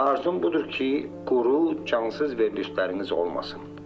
Arzum budur ki, quru, cansız verilişləriniz olmasın.